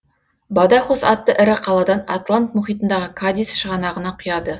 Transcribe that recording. бадахос атты ірі қаладан атлант мұхитындағы кадис шығанағына құяды